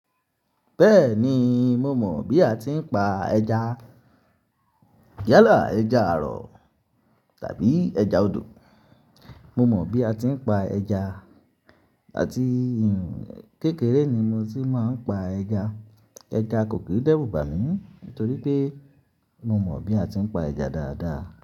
Bẹ́ẹ̀ni, mo mọ̀ bí a ti ń pa ẹja. Yálà, ẹja àrọ̀ tàbí ẹja odò. Mo mọ bí a ti ń pa ẹja àti kékeré ni mo ti máa ń pa ẹja. Ẹja kò kí ń dẹ́rùbà mí nítorí pé mo mọ bí a ti ń pa ẹja dáadáa.